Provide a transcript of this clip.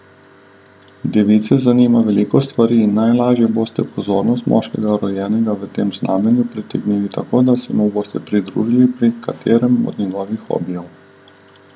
Device zanima veliko stvari in najlažje boste pozornost moškega, rojenega v tem znamenju pritegnili tako, da se mu boste pridružili pri katerem od njegovih hobijev.